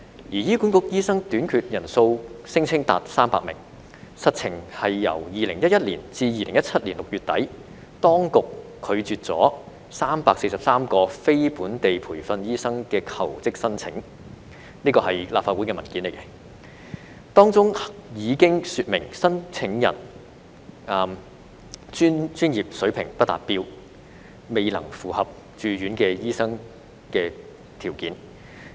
醫院管理局聲稱醫生短缺人數達300名，實情是由2011年至2017年6月底，當局拒絕了343宗非本地培訓醫生的求職申請——這是立法會文件提供的資料——當中已經說明申請人專業水平不達標，未能符合駐院醫生的條件。